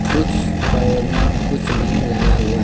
कुछ पौधा कुछ भी लगा हुआ।